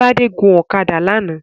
Tádé gun ọ̀kadà lánàá